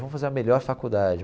Vamos fazer a melhor faculdade.